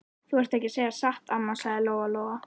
Þú ert ekki að segja satt, amma, sagði Lóa Lóa.